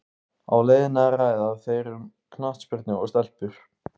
Á leiðinni ræða þeir um knattspyrnu og stelpur.